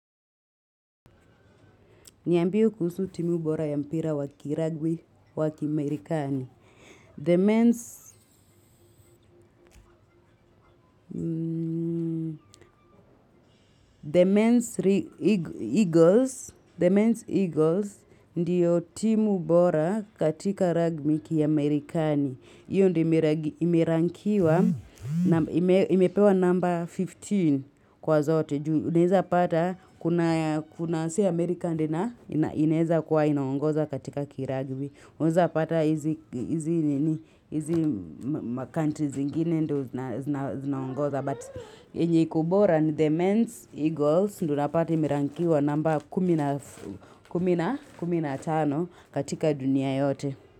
Niambie kuhusu timu bora ya mpira wa kiragbi wa kimerikani. The mens The men's eagles ndiyo timu bora katika ragbi kiamerikani. Hiyo ndio imerankiwa na imepewa number fifteen kwa zote. Unezapata kuna si amerika ndio ina ineza kiwa inaongoza katika kiragbi. Unezapata hizi macountry zingine ndo zinaongoza. Yenye iko bora ni the men's eagles ndo unapata imerankiwa namba kumi na tano katika dunia yote.